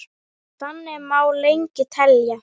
Þannig má lengi telja.